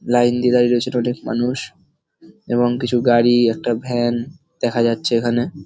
Line দিয়ে দাঁড়িয়ে রয়েছে মানুষ এবং কিছু গাড়ি একটা ভ্যান দেখা যাচ্ছে এখানে।